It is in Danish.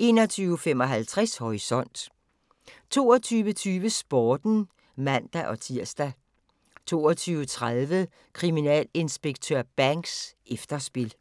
21:55: Horisont 22:20: Sporten (man-tir) 22:30: Kriminalinspektør Banks: Efterspil